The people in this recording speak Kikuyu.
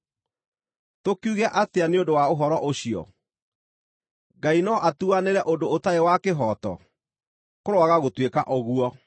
Tũkiuge atĩa nĩ ũndũ wa ũhoro ũcio? Ngai no atuanĩre ũndũ ũtarĩ wa kĩhooto? Kũroaga gũtuĩka ũguo!